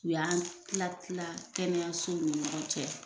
U y'an tila tila kɛnɛyasow ni ɲɔgɔn cɛ.